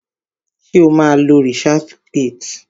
Ṣé o má ń lo researchgate?